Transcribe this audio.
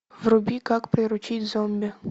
вруби как приручить зомби